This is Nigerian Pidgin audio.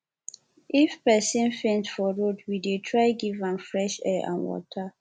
if pesin faint for road we dey try give am fresh air and water